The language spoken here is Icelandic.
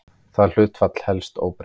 Það hlutfall helst óbreytt.